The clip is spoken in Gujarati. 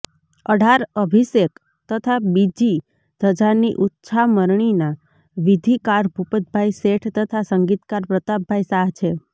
અઢાર અભિષેક તથા બીજી ધજાની ઉચ્છામણીના વિધિકાર ભુપતભાઈ શેઠ તથા સંગીતકાર પ્રતાપભાઈ શાહ છે